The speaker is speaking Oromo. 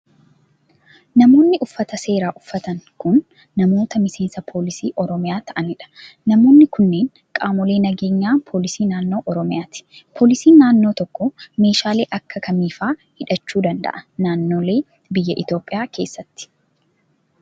Namoonni uffata seeraa uffatan kun, namoota miseensa poolisii Oromiyaa ta'anii dha. Namoonni kunneen, qaamolee nageenyaa poolisii naannoo oromiyaati. Poolisiin naannoo tokkoo meeshaalee akka kamii faa hidhachuu danda'a naannolee biyya Itoophiyaa keessatti?